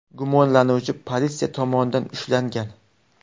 Gumonlanuvchi politsiya tomonidan ushlangan.